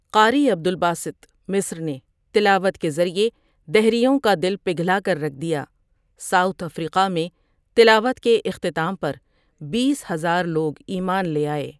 قاری عبدالباسطؒ مصر نے تلاوت کے ذریعے دہریوں کا دل پگھلا کر رکھ دیا ساؤتھ افریقہ میں تلاوت کے اختتام پر بیس ہزار لوگ ایمان لے آئے ۔